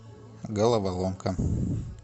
головоломка